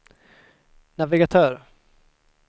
navigatör